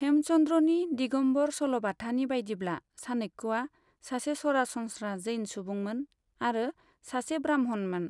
हेमचंद्रनि दिगंबर सल'बाथानि बायदिब्ला, चाणक्यया सासे सरासनस्रा जैन सुबुंमोन आरो सासे ब्राह्मणमोन।